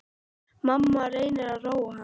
Mamma reynir að róa hann.